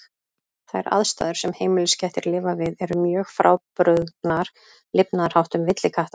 Þær aðstæður sem heimiliskettir lifa við eru mjög frábrugðnar lifnaðarháttum villikatta.